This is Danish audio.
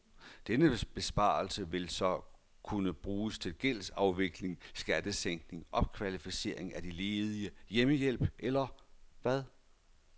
Denne besparelse vil så kunne bruges til gældsafvikling, skattesænkning, opkvalificering af de ledige, hjemmehjælp eller hvad?